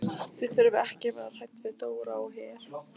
Þið þurfið ekki að vera hrædd við Dóra á Her.